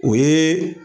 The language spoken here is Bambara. O ye